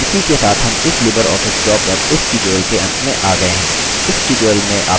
इसी के साथ हम libreoffice draw पर इस tutorial के अंत में आ गये हैं